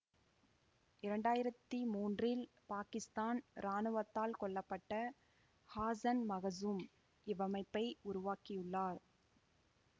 இரண்டாயிரத்தி மூன்றில் பாகிஸ்தான் இராணுவத்தால் கொல்ல பட்ட ஹசான் மஹ்சூம் இவ்வமைப்பை உருவாக்கியுள்ளார்